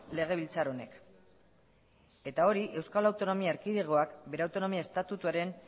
legebiltzar honek eta hori euskal autonomia erkidegoak bere autonomia estatutuaren